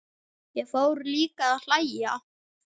Ég fór líka að hlæja.